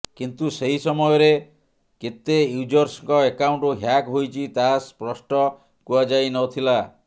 କିନ୍ତୁ ସେହି ସମୟରେ କେତେ ୟୁଜର୍ସଙ୍କ ଆକାଉଣ୍ଟ ହ୍ୟାକ୍ ହୋଇଛି ତାହା ସ୍ପଷ୍ଟ କୁହାଯାଇନଥିଲା